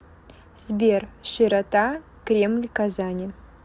сбер широта кремль казани